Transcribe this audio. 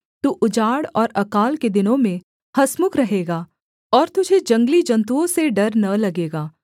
तू उजाड़ और अकाल के दिनों में हँसमुख रहेगा और तुझे जंगली जन्तुओं से डर न लगेगा